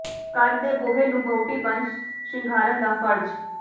ਘਰ ਦੇ ਬੂਹੇ ਨੂੰ ਵਹੁਟੀ ਬਣ ਸ਼ਿੰਗਾਰਨ ਦਾ ਫ਼ਰਜ਼